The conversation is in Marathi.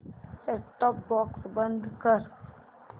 सेट टॉप बॉक्स बंद कर